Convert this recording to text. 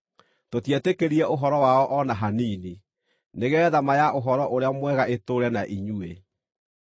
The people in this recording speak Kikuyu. Tũtietĩkĩrire ũhoro wao o na hanini, nĩgeetha ma ya Ũhoro-ũrĩa-Mwega ĩtũũre na inyuĩ.